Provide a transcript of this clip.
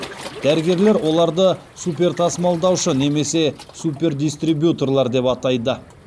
дәрігерлер оларды супертасымалдаушы немесе супердистрибьюторлар деп атайды